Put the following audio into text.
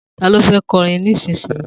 Ta ló fẹ́ kọrin nísinsìnyí?